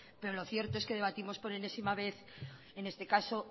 pero lo cierto es que debatimos por enésima vez en este caso